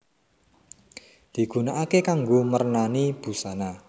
Digunakaké kanggo mernani busana